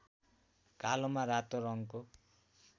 कालोमा रातो रङको